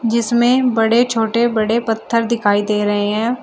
जिसमें बड़े छोटे बड़े पत्थर दिखाई दे रहे हैं।